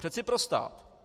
Přece pro stát.